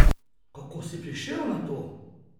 Kako si prišel na to?